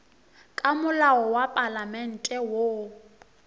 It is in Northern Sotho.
ka molao wa palamente woo